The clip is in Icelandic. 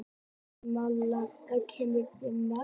Malla, hvenær kemur fimman?